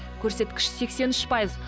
көрсеткіші сексен үш пайыз